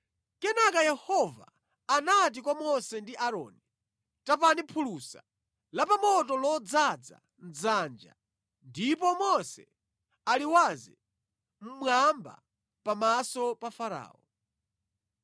Kenaka Yehova anati kwa Mose ndi Aaroni, “Tapani phulusa la pa moto lodzaza dzanja ndipo Mose aliwaze mmwamba pamaso pa Farao.